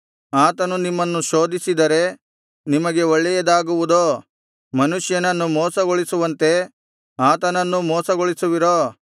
ಆತನು ನಿಮ್ಮನ್ನು ಶೋಧಿಸಿದರೆ ನಿಮಗೆ ಒಳ್ಳೆಯದಾಗುವುದೋ ಮನುಷ್ಯನನ್ನು ಮೋಸಗೊಳಿಸುವಂತೆ ಆತನನ್ನೂ ಮೋಸಗೊಳಿಸುವಿರೋ